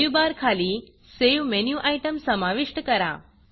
menu bar खाली Saveसेव menu item समाविष्ट करा